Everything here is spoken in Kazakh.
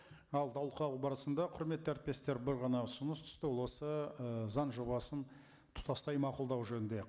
ал талқылау барысында құрметті әріптестер бір ғана ұсыныс түсті ол осы ы заң жобасын тұтастай мақұлдау жөнінде